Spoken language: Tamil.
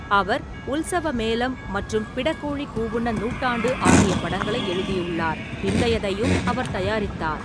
அவர் உல்சவமேலம் மற்றும் பிடக்கோழி கூவுன்ன நூட்டாண்டு ஆகிய படங்களை எழுதியுள்ளார், பிந்தையதையும் அவர் தயாரித்தார்.